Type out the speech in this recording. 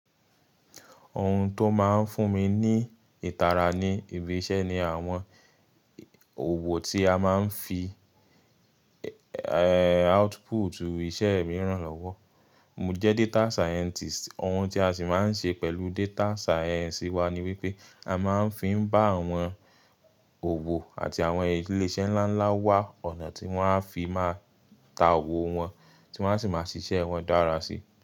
Ohun tó máa ń fún mi ní ìtara ní ibi iṣẹ́ ni àwọn òwò tí a máa ń fi output iṣẹ́ mìíràn lọ́wọ́. Mo jẹ́ data scientist, ohun tí a sì máa ń ṣe pẹ̀lú data science wa ni wípé a máa ń fi ń bá àwọn òwò àti àwọn ilé iṣẹ́ ńlá ńlá wá ọ̀nà tí wón á fi máa ta òwò wọn, tí wón á sì máa ṣiṣẹ́ wọn dára sí.